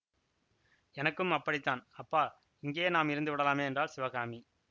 எனக்கும் அப்படித்தான் அப்பா இங்கேயே நாம் இருந்து விடலாமே என்றாள் சிவகாமி